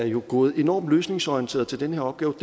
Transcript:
jo er gået enormt løsningsorienteret til den her opgave